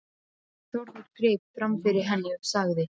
Þórður greip fram fyrir henni og sagði